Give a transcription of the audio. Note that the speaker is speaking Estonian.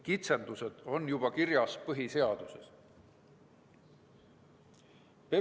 Kitsendused on põhiseaduses juba kirjas.